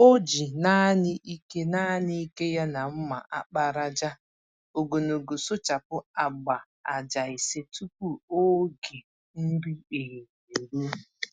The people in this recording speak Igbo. O ji nanị ike nanị ike ya na mma àkpàràjà ogologo sụchapụ agba-ájá ise tupu ógè nri ehihie eruo.